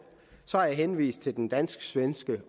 så har jeg henvist til den dansk svenske